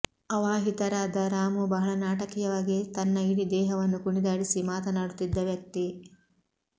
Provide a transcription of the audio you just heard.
ಆವಾಹಿತರಾದ ರಾಮೂ ಬಹಳ ನಾಟಕೀಯವಾಗಿ ತನ್ನ ಇಡೀ ದೇಹವನ್ನು ಕುಣಿದಾಡಿಸಿ ಮಾತನಾಡುತ್ತಿದ್ದ ವ್ಯಕ್ತಿ